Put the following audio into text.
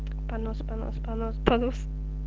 понос понос понос понос